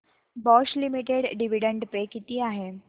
Bosch limited dividend pay किती आहे